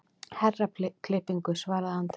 Herraklippingu, svaraði Andri.